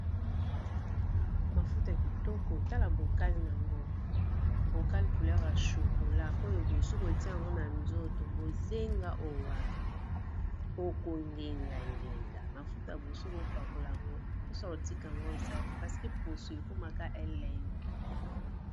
mafuta kitoko otala bokale ango bokale couleur ya chokola oyo bosuku otia yango na nzoto bozenga owapi okongenga ngenga mafuta bosuku opakola yango mposa kotika yango oza te paseke poso ekomaka eleng